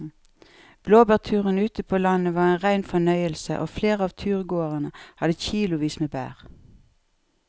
Blåbærturen ute på landet var en rein fornøyelse og flere av turgåerene hadde kilosvis med bær.